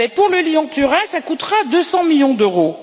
le Lyon Turin coûtera 200 millions d'euros!